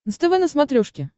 нств на смотрешке